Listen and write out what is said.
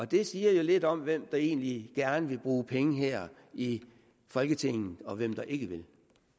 det siger lidt om hvem der egentlig gerne vil bruge penge her i folketinget og hvem der ikke vil